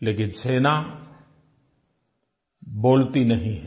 लेकिन सेना बोलती नहीं है